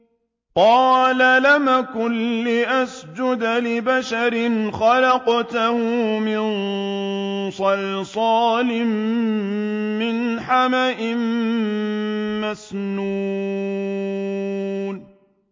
قَالَ لَمْ أَكُن لِّأَسْجُدَ لِبَشَرٍ خَلَقْتَهُ مِن صَلْصَالٍ مِّنْ حَمَإٍ مَّسْنُونٍ